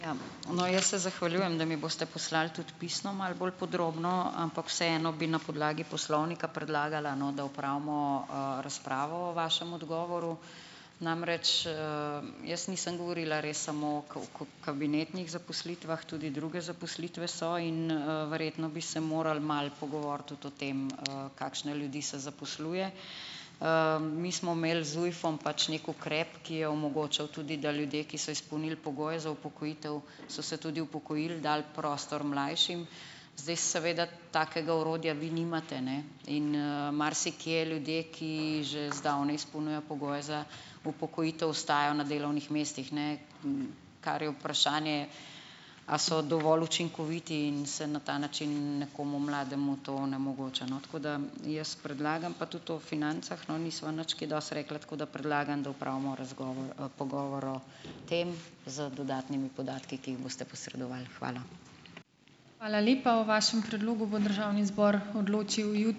Ja, no, jaz se zahvaljujem, da mi boste poslali tudi pisno malo bolj podrobno, ampak vseeno bi na podlagi poslovnika predlagala, no, da opravimo, razpravo o vašem odgovoru. Namreč, jaz nisem govorila res samo o kabinetnih zaposlitvah, tudi druge zaposlitve so in, verjetno bi se morali malo pogovoriti tudi o tem, kakšne ljudi se zaposluje. Mi smo imeli z ZUJF-om pač nek ukrep, ki je omogočal tudi, da ljudje, ki so izpolnili pogoje za upokojitev, so se tudi upokojili, dali prostor mlajšim. Zdaj seveda, takega orodja vi nimate, ne, in, marsikje ljudje, ki že zdavnaj izpolnjujejo pogoje za upokojitev, ostajajo na delovnih mestih, ne. Kar je vprašanje, a so dovolj učinkoviti in se na ta način nekomu mlademu to onemogoča, no, tako da, jaz predlagam, pa tudi o financah, no, nisva nič kaj dosti rekla, tako da predlagam, da opravimo razgovor, pogovor o tem z dodatnimi podatki, ki jih boste posredovali. Hvala.